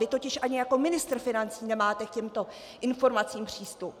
Vy totiž ani jako ministr financí nemáte k těmto informacím přístup.